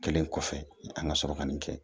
Kɛlen kɔfɛ an ka sɔrɔ ka nin kɛ